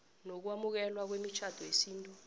nokwamukelwa kwemitjhado yesintu